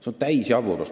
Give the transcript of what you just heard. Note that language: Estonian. See on täisjaburlus.